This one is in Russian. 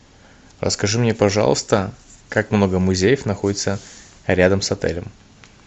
расскажи мне пожалуйста как много музеев находится рядом с отелем